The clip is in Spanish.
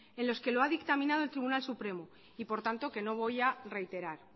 en los que lo ha dictaminado el tribunal supremo y por tanto que no voy a reiterar